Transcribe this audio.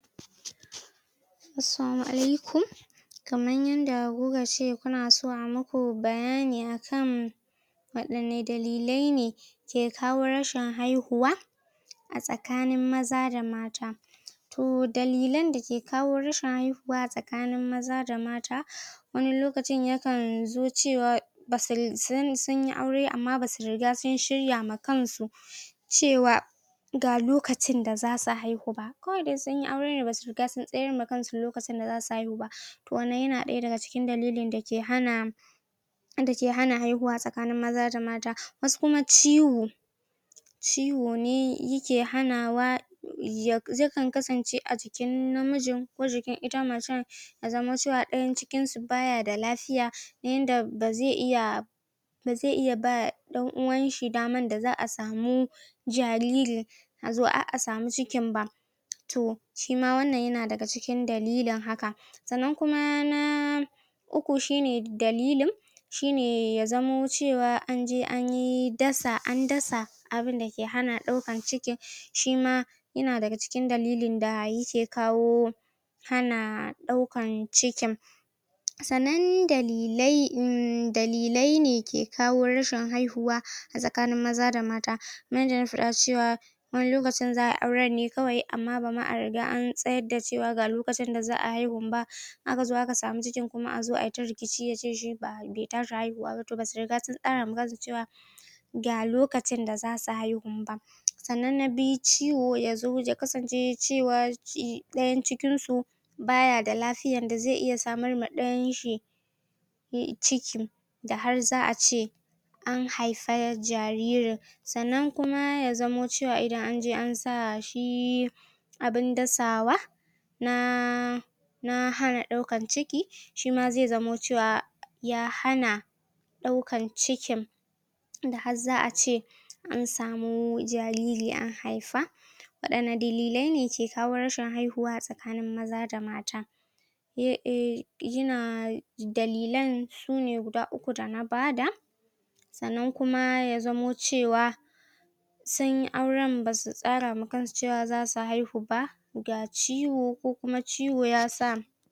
Assalamu alaikum Kaman yanda ku ka ce kuna son a muku bayani akan waɗanne dalilai ne ke kawo rashin haihuwa tsakanin maza da mata. To dalilan da ke kawo rashin haihuwa a tsakanin maza da mata. Wani lokacin yakan zo cewa ba su san sun yi aure amma ba su riga sun shirya ma kansu cewa ga lokacin da za su haihu ba. Kawai dai sun yi aure ne amma ba su riga sun tsayar ma kansu lokacin da za su haihu ba. To wannan ya na aya daga cikin dalilin da ke hana wanda ke hana haihuwa a tsakanin maza da mata. Wasu kuma ciwo ciwon ne ya ke hanawa ya, yakan kasance a jikin namijin ko jikin ita maccen. Ya zama cewa ɗayan cikin su ba ya da lafiya yanda ba zai iya ba zai iya ba ɗan-wan shi daman da za'a samu hariri, a zo har a samu cikin ba. To shi ma wannan ya na daga cikin dalilin haka. Sannan kuma na uku shi ne dalilin shi ne ya zamo cewa anje an yi dasa an dasa abunda ke hana ɗaukan ciki. Shi ma ya na daga cikin dalilin da ya ke kawo hana ɗaukan cikin. Sannan dalilai em, dalilai ne ke kawo rashin haihuwa a tsakanin maza da mata. Kaman yanda na faɗa cewa wani lokacin za'a yi auren ne kawai amma ba ma a riga na tsayar da cewa ga lokacin da za'a haihun ba, aka zo aka samu ciki a zo ayi ta rikici yace shi ba be tashi haihuwa ba, to ba su riga sun tsara ma kansu cewa ga lokacin da za su haihu. Sannan na biyu ciwo ya zo ya kasance cewa shi ɗayan cikin su ba ya da lafiya da zai iya samar ma ɗayan shi ciki da har za'a ce an haifa jaririn. Sannan kuma ya zamo cewa idan anje an sa shi abun dasawa na na hana ɗaukan ciki shi ma zai zamo cewa ya hana ɗaukan cikin da har za'a ce an samu jariri an haifa. Waɗanne dalilai ne ke kawo rashin haihuwa a tsakanin maza da mata. Eh eh, ya na, dalilan su ne guda uku da na bada. Sannan kuma ya zamo cewa sun yi auren ba su tsara ma kansu cewa za su haihu ba. Ga ciwo, ko kuma ciwo ya sa.